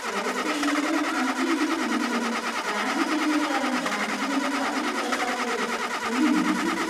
Close ചെയ്യുന്നതിന് അഞ്ച് minute മുമ്പ് ബാങ്ക് ജീവനക്കാരൻ ബാങ്കിൽ നിന്ന് തള്ളി പുറത്താക്കിയത് എന്നെ ഞെട്ടിച്ചു.